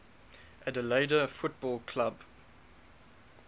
adelaide football club